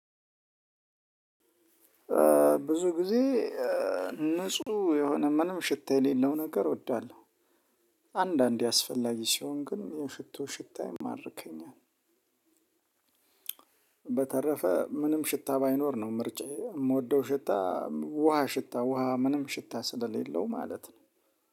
ብዙ ጊዜ ንጹህ የሆነ ምንም ሽታ የሌለው ነገር እወዳለሁ። አንዳንዴ አስፈላጊ ሲሆን ግን የሽቶ ሽታ ይማርከኛል። በተረፈ ምንም ሽታ ባይኖር ነው ምርጫዬ የምወደው ሽታ። ውሃ ሽታ ውሃ ምንም ሽታ ስለሌለው ማለት ነው።